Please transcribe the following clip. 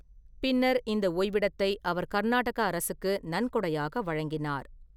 பின்னர் இந்த ஓய்விடத்தை அவர் கர்நாடக அரசுக்கு நன்கொடையாக வழங்கினார்.